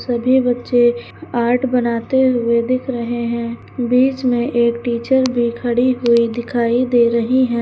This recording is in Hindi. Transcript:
सभी बच्चे आर्ट बनाते हुए दिख रहे हैं बीच में एक टीचर खड़ी हुई दिखाई दे रही है।